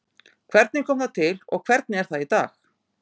Hvernig kom það til og hvernig er það í dag?